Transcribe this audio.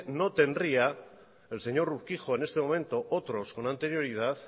no tendría el señor urquijo en este momento otros con anterioridad